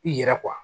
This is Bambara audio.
I yɛrɛ